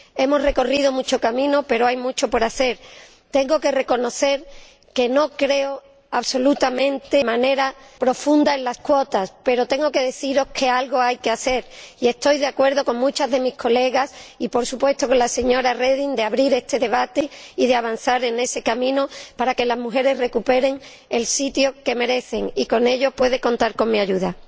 Hemos recorrido mucho camino pero hay mucho por hacer. Tengo que reconocer que no creo de manera absoluta ni rotunda en las cuotas, pero tengo que decir que algo hay que hacer y estoy de acuerdo con muchas de sus Señorías colegas y, por supuesto, con la señora Reding, en abrir este debate y en avanzar por ese camino para que las mujeres recuperen el sitio que merecen, y para ello puede contar con mi ayuda.